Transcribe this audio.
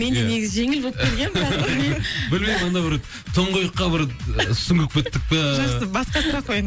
мен де негізі жеңіл болып келгенмін тұңғиыққа бір сүңгіп кеттік пе жақсы басқа сұрақ қояйын